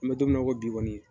N bɛ don mina i ko bi kɔni